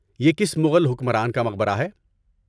یہ کس مغل حکمران کا مقبرہ ہے؟